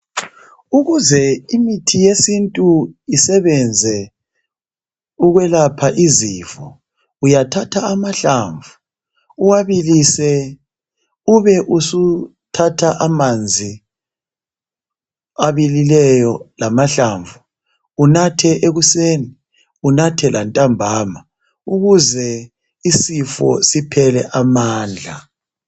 Ukuze imithi yesintu isebenze ukwelapha izifo uyathatha amahlamvu uwabilise ube usuthatha amanzi abilileyo lamahlamvu unathe ekuseni unathe lantambama ukuze isifo siphele amandla.